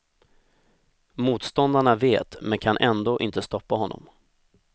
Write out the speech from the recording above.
Motståndarna vet men kan ändå inte stoppa honom.